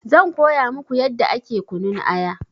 Zan koya muku yadda ake kunun aya